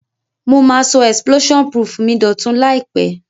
Mo ma so explosion proof mi dòtun làìpé